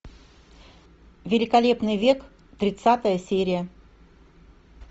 великолепный век тридцатая серия